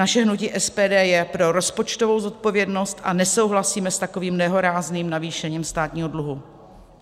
Naše hnutí SPD je pro rozpočtovou zodpovědnost a nesouhlasíme s takovým nehorázným navýšením státního dluhu.